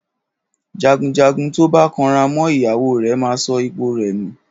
Jàgúnjàgún tọba kàn rà mọ ìyáwò rẹ mà sọ ìpó rẹ nú